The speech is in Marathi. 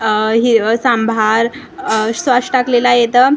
अ ही अ सांभार अ सॉस टाकलेला आहे इथं--